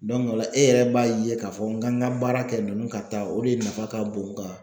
ola e yɛrɛ b'a ye k'a fɔ n ka n ŋa baara kɛ ninnu ka taa o de nafa ka bon n ka